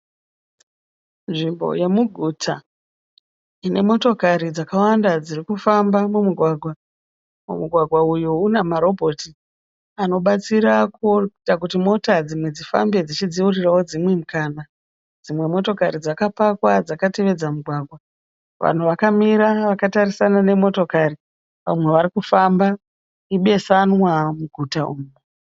Nzvimbo yemuguta inemotokari dzakawanda dzirikufamba mumugwagwa. Mumugwagwa uyu unamarobhoti anobatsira kuita kuti mota dzimwe dzifambe dzichidziurira dzimwe mukana. Dzimwe dzakamira dzakapakwa dzakatevedza mugwagwa. Vanhu vamwe varikufamba, ibesanwa muguta umu.